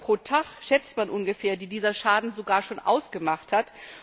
EUR pro Tag schätzt man ungefähr, die dieser Schaden sogar schon ausgemacht hat.